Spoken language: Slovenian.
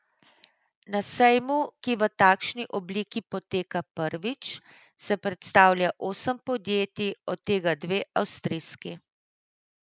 Na sejmu, ki v takšni obliki poteka prvič, se predstavlja osem podjetij, od tega dve avstrijski.